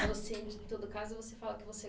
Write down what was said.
Todo caso você fala que você